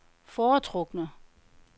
foretrukne